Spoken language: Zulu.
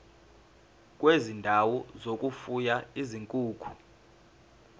kwezindawo zokufuya izinkukhu